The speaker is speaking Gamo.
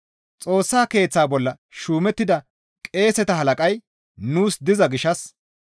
Xoossa Keeththa bolla shuumettida qeeseta halaqay nuus diza gishshas,